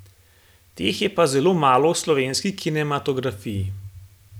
Teh je pa zelo malo v slovenski kinematografiji.